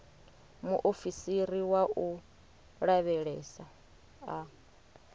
muofisiri wa u lavhelesa a